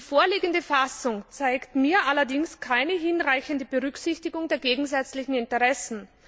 Die vorliegende Fassung zeigt mir allerdings keine hinreichende Berücksichtigung der gegensätzlichen Interessen.